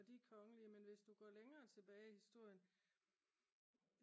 og de kongelige men hvis du går længere tilbage i historien